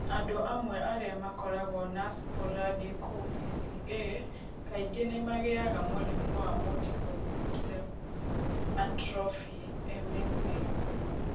Andũ amwe arĩa makoragwo na sporadic OPCA kaingĩ nĩ magĩaga mũrimũ wa multiple system atrophy (MSA).